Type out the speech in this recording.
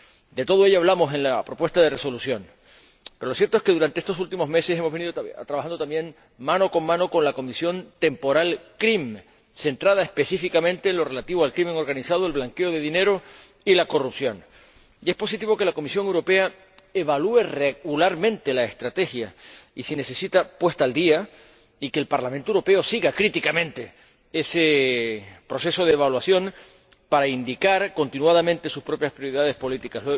De todo ello hablamos en la propuesta de Resolución, pero lo cierto es que durante estos últimos meses también hemos venido trabajando mano con mano con la Comisión temporal CRIM, centrada específicamente en la delincuencia organizada, el blanqueo de dinero y la corrupción, y es positivo que la Comisión Europea evalúe regularmente la estrategia y si es necesario actualizarla, así como que el Parlamento Europeo siga críticamente ese proceso de evaluación para indicar continuamente sus propias prioridades políticas.